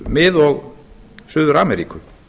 mið og suður ameríku